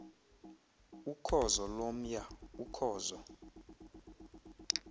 ukhozo lomya ukhozo